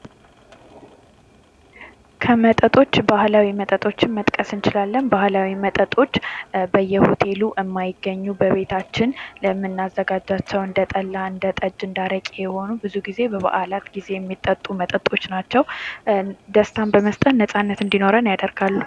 ከመጠጦች ባህላዊ መጠጦችን መጥቀስ እንችላለን ባህላዊ መጠጦች በየሆቴሉ የማይገኙ በቤታችን የምናዘጋጃቸው እንደ ጠላ እንደ ጠጅ እንደ አረቄ የሆኑ ብዙ ጊዜ በበዓላት ጊዜ የሚጠጡ መጠጦች ናቸው ደስታን በመስጠት ነጻነት እንዲኖረን ያደርጋሉ ::